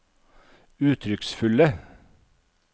uttrykksfulle